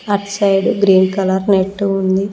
At side green colour net ఉంది.